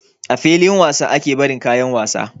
A filin wasa ake barin kayan wasa